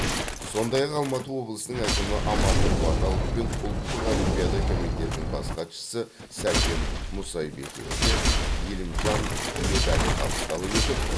сондай ақ алматы облысының әкімі амандық баталов пен ұлттық олимпиада комитетінің бас хатшысы сәкен мұсайбековке елімжан медалі табысталып етіп